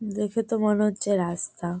দেখে তো মনে হচ্ছে রাস্তা।